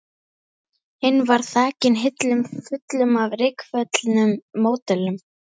Hinn var þakinn hillum fullum af rykföllnum módelum.